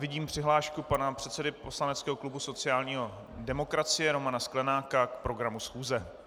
Vidím přihlášku pana předsedy poslaneckého klubu sociální demokracie Romana Sklenáka k programu schůze.